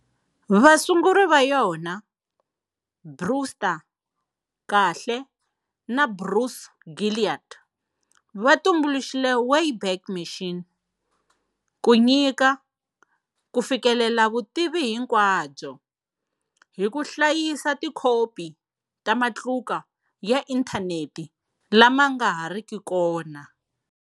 Vasunguri va yona, Brewster Kahle na Bruce Gilliat, va tumbuluxe Wayback Machine ku nyika"ku fikelela vutivi hinkwabyo" hi ku hlayisa tikhopi ta matluka ya inthaneti lama nga ha riki kona.